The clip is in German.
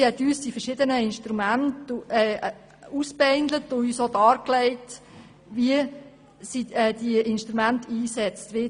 Sie hat uns die verschiedenen Instrumente aufgezeigt und uns dargelegt, wie diese eingesetzt werden.